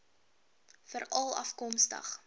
veralafkomstig